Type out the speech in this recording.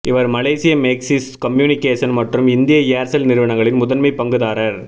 இவர் மலேசிய Maxis communication மற்றும் இந்திய ஏர்செல் நிறுவனங்களின் முதன்மை பங்குதாரர்